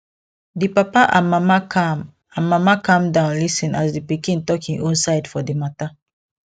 di papa and mama calm and mama calm down lis ten as di pikin talk im own side for di mata